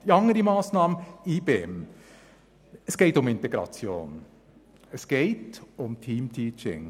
Zur IBEM-Massnahme: Es geht um Integration und um «Team-Teaching».